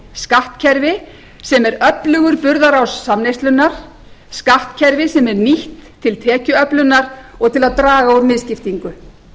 skattkerfi sem er öflugur burðarás samneyslunnar skattkerfi sem er nýtt til tekjuöflunar og til að draga úr misskiptingu